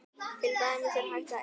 Til dæmis er hægt að eyða